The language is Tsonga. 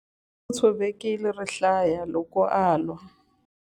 U tshovekile rihlaya loko a lwa.